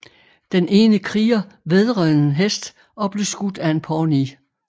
Den ene kriger vædrede en hest og blev skudt af en pawnee